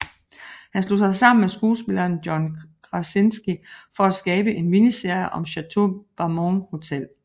Han slog sig sammen med skuespilleren John Krasinski for at skabe en miniserie om Chateau Marmont Hotel